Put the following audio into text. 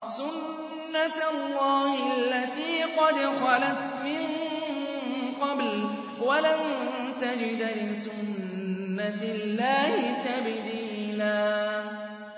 سُنَّةَ اللَّهِ الَّتِي قَدْ خَلَتْ مِن قَبْلُ ۖ وَلَن تَجِدَ لِسُنَّةِ اللَّهِ تَبْدِيلًا